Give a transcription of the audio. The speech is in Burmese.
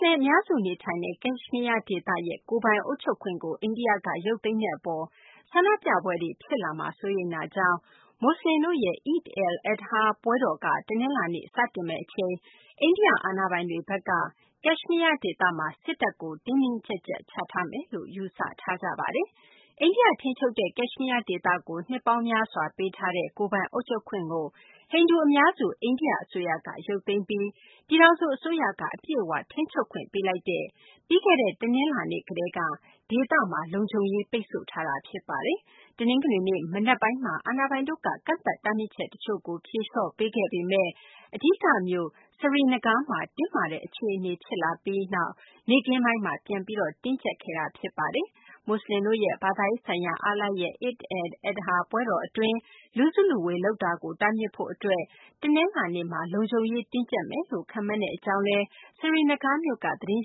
လင် အများစု နေထိုင်ရာ ကက်ရှမီးယား ဒေသရဲ့ ကိုယ်ပိုင်အုပ်ချုပ်ခွင့်ကို အိန္ဒိယက ရုပ်သိမ်းတဲ့ အပေါ် ဆန္ဒပြပွဲတွေ ဖြစ်လာမှာကို စိုးရိမ်တာကြောင့် မူဆလင်တို့ရဲ့ Eid al-Adha ပွဲတော်က တနလာၤနေ့မှာ စတင်မယ့် အချိန်မှာ အိန္ဒိယ အာဏာပိုင်တွေဘက်က ကက်ရှမီးယား ဒေသမှာ စစ်တပ်ကို တင်းတင်းကျပ်ကျပ် ချထားမယ်လို့ ယူဆထားကြပါတယ်။ အိန္ဒိယ ထိန်းချုပ်တဲ့ ကက်ရှမီးယား ဒေသကို နှစ်ပေါင်းများစွာ ပေးထားတဲ့ ကိုယ်ပိုင်အုပ်ချုပ်ခွင့်ကို ဟိန္ဒူ အများစု အိန္ဒိယ အစိုးရက ရုပ်သိမ်းပြီး ပြည်ထောင်စု အစိုးရက အပြည့်အ၀ ထိန်းချုပ်ခွင့် ပေးလိုက်တဲ့ ပြီးခဲ့တဲ့ တနလာၤနေ့ ကတည်းက ဒေသမှာ လုံခြုံရေး ပိတ်ဆို့ထားတာပါ။ တနင်္ဂနွေနေ့ မနက်ပိုင်းမှာတော့ အာဏာပိုင်တို့က ကန့်သတ် တားမြစ်ချက် တချို့ကို ဖြေလျှော့ပေးခဲ့ပေမယ့် အဓိက မြို့ Srinagar မှာ တင်းမာတဲ့ အခြေအနေမျိုး ထွက်ပေါ်လာပြီး နောက် နေ့ခင်းပိုင်းမှာ ပြန်ပြီး တင်းကျပ်ခဲ့တာပါ။ မူဆလင်တို့ရဲ့ ဘာသာရေးဆိုင်ရာ အားလပ်ရက် Eid al-Adha ပွဲတော် အတွင်း လူစုလူဝေး လုပ်တာကို တားမြစ်ဖို့ အတွက် တနလာၤနေ့မှာ လုံခြုံရေး တင်းကြပ်မယ်လို့ ခန့်မှန်းတဲ့ အကြောင်း Srinagar မြို့က သတင်